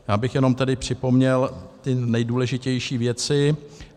Já bych tedy jenom připomněl ty nejdůležitější věci.